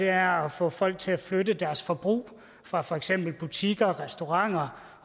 er at få folk til at flytte deres forbrug fra for eksempel butikker og restauranter